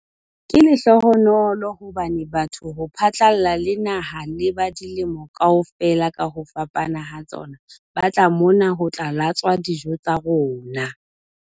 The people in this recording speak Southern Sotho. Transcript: "Ke lehlohonolo hobane batho ho phatlalla le naha le ba dilemo kaofela ka ho fapana ha tsona ba tla mona ho tla latswa dijo tsa rona."